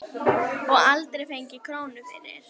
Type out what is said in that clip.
Og aldrei fengið krónu fyrir.